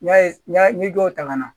N y'a ye n y'a ɲɛ dɔw ta ka na